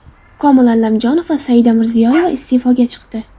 Komil Allamjonov va Saida Mirziyoyeva iste’foga chiqdi.